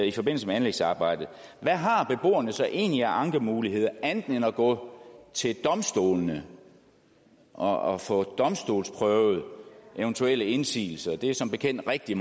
i forbindelse med anlægsarbejdet hvad har beboerne så egentlig af ankemuligheder andet end at gå til domstolene og få domstolsprøvet eventuelle indsigelser det er som bekendt rigtig